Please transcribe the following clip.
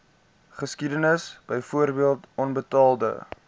geskiedenis byvoorbeeld onbetaalde